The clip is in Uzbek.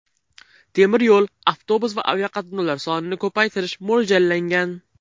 Temir yo‘l, avtobus va aviaqatnovlar sonini ko‘paytirish mo‘ljallangan.